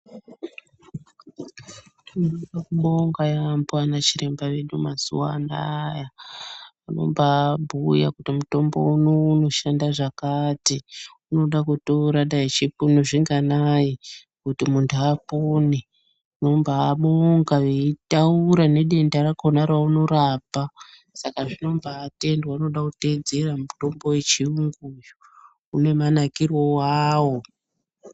Tinoda kubonga yaamho anachiremba vedu mazuwa anaa vanombaabhuya kuti mutombo unou unoshanda zvakati. Unoda kutora dayi zvipunu zvinganayi kuti munhu apone. Tinombaabonga veitaura nedenda rakhona raunorapa. Saka zvinombaatendwa unoda kuteedzerwa mutombo wechiyungu uyu, une manakire wawo.